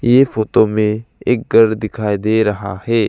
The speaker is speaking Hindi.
ये फोटो में एक घर दिखाई दे रहा है।